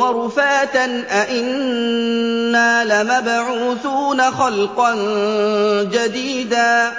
وَرُفَاتًا أَإِنَّا لَمَبْعُوثُونَ خَلْقًا جَدِيدًا